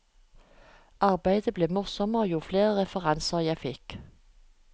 Arbeidet ble morsommere jo flere referanser jeg fikk.